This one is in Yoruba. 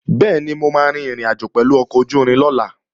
Bẹ́ẹ̀ni, mo máa rin ìrìnàjò pẹ̀lú ọkọ̀ ojú-irin lọ́la